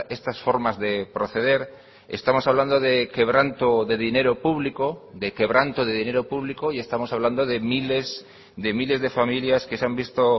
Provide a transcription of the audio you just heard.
estas formas de proceder estamos hablando de quebranto de dinero público de quebranto de dinero público y estamos hablando de miles de miles de familias que se han visto